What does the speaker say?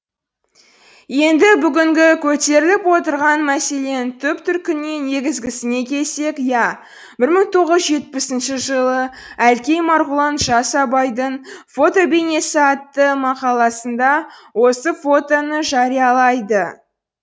енді бүгінгі көтеріліп отырған мәселенің түп төркініне негізгісіне келсек ия бір мың тоғыз жүз жетпісінші жылы әлкей марғұлан жас абайдың фотобейнесі атты мақаласында осы фотоны жариялайды